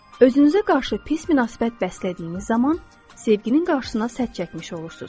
Özünüzə qarşı pis münasibət bəslədiyiniz zaman sevginin qarşısına sədd çəkmiş olursunuz.